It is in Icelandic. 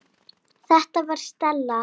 Þetta var Stella.